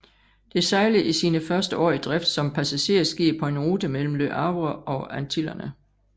Det sejlede i sine første år i drift som passagerskib på en rute mellem Le Havre og Antillerne